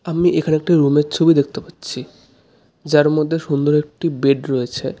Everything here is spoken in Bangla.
আমি এখানে একটি রুম -এর ছবি দেখতে পাচ্ছি যার মধ্যে সুন্দর একটি বেড রয়েছে।